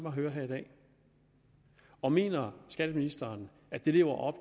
at høre her i dag og mener skatteministeren at det lever op